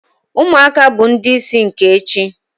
Umuaka bu ndi isi nke echi